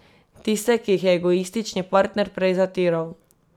Tiste, ki jih je egoistični partner prej zatiral.